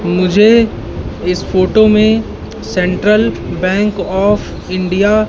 मुझे इस फोटो में सेंट्रल बैंक आफ इंडिया --